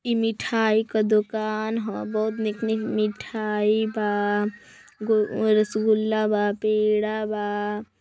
इ मिठाई का दुकान ह बहुत निक निक मिठाई बा गो रसगुल्ला बा पेरा बा।